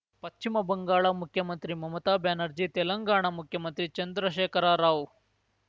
ಪಚ್ಚಿಮ ಬಂಗಾಳ ಮುಖ್ಯಮಂತ್ರಿ ಮಮತಾ ಬ್ಯಾನರ್ಜಿ ತೆಲಂಗಾಣ ಮುಖ್ಯಮಂತ್ರಿ ಚಂದ್ರಶೇಖರ ರಾವ್‌